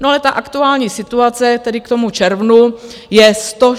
No ale ta aktuální situace tedy k tomu červnu je 116 miliard.